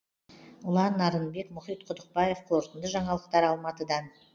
ұлан нарынбек мұхит құдықбаев қорытынды жаңалықтар алматыдан